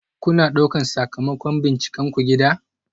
Kuna ɗaukar sakamakon bincikenku gida?